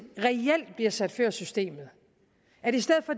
reelt bliver sat før systemet